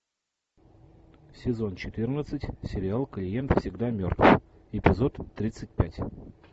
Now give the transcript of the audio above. сезон четырнадцать сериал клиент всегда мертв эпизод тридцать пять